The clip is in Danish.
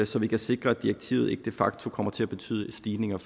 så vi kan sikre at direktivet ikke de facto kommer til at betyde stigninger